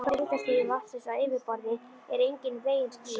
Flokkun eftir hitastigi vatnsins á yfirborði er engan veginn skýr.